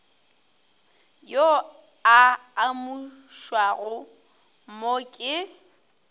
yo a amušwago mo ke